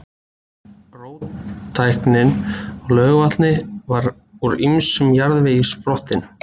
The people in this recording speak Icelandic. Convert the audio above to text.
Róttæknin á Laugarvatni var úr ýmislegum jarðvegi sprottin.